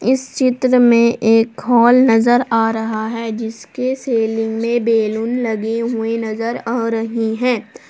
इस चित्र में एक हाल नजर आ रहा है जिसके सिलिंग में बैलून लगे हुए नजर आ रही है।